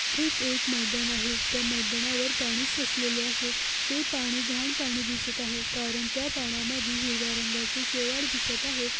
इथे एक मैदान आहे त्या मैदानावर पाणी साचलेले आहे ते पाणी घाण पाणी दिसत आहे कारण त्या पाण्यामध्ये हिरव्या रंगाचे शेवाळ दिसत आहे.